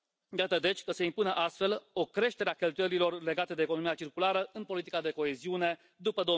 Iată, deci, că se impune astfel o creștere a cheltuielilor legate de economia circulară în politica de coeziune după